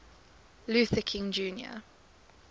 luther king jr